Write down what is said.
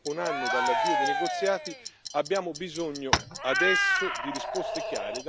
dei negoziati, abbiamo bisogno adesso di risposte chiare da parte del governo inglese.